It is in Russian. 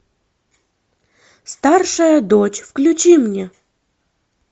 старшая дочь включи мне